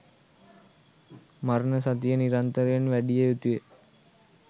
මරණ සතිය නිරන්තරයෙන් වැඩිය යුතු ය